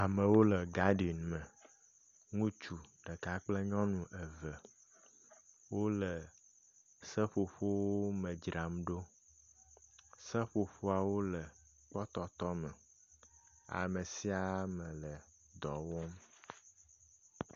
amewo le gaden me ŋutsu ɖeka kple nyɔnu eve wó le seƒoƒowo me dzramɖo seƒoƒoawo le kpɔtɔtɔ me amesiame le dɔwɔm